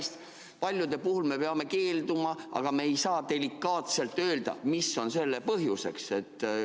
Sest ma saan aru, et päris paljude puhul me peame keelduma, aga me ei saa delikaatselt öelda, mis on selle põhjuseks.